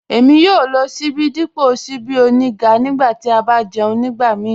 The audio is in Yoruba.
Èmi yòò lọ síbí dípọ̀ síbí ọ̀nígà nígbà tí a bá jẹ̀ún nígbàmíì